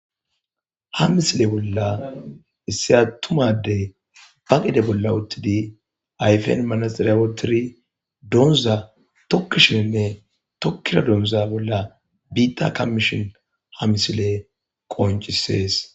Ha missile bolla issi atuma addey ba gede bolla uttidi ayfen manaxiriya woththidi dooza tokkishe de'es tokkiya dooza bolla biitta kammishe ha missile qoncisees.